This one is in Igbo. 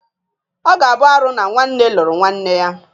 Ọ ga-abụ arụ na nwanne lụrụ nwanne ya.